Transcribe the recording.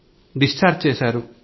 discharge చేశారు